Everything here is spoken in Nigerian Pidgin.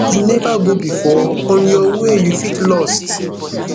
you neva go before on your way you fit lost